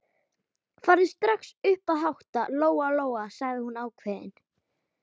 Farðu strax upp að hátta, Lóa-Lóa, sagði hún ákveðin.